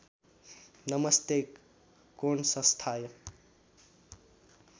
नमस्ते कोणसंस्थाय